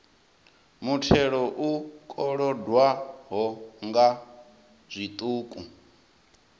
muthelo u kolodwaho nga zwiṱuku